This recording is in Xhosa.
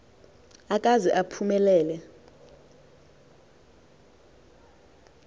akaze aphume lele